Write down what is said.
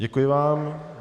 Děkuji vám.